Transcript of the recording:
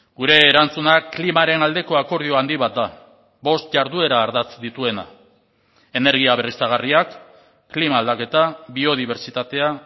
gure erantzunak klimaren aldeko akordio handi bat da bost jarduera ardatz dituena energia berriztagarriak klima aldaketa biodibertsitatea